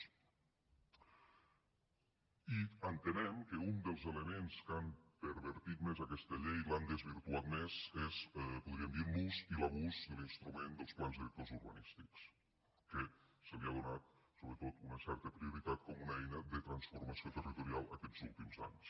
i entenem que un dels elements que han pervertit més aquesta llei l’han desvirtuat més és podríem dir l’ús i l’abús de l’instrument dels plans directors urbanístics que se li ha donat sobretot una certa prioritat com una eina de transformació territorial aquests últims anys